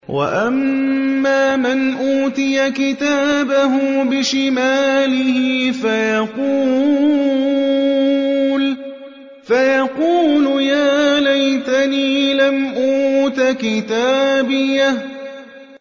وَأَمَّا مَنْ أُوتِيَ كِتَابَهُ بِشِمَالِهِ فَيَقُولُ يَا لَيْتَنِي لَمْ أُوتَ كِتَابِيَهْ